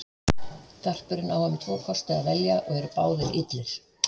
Garpurinn á um tvo kosti að velja og eru báðir illir.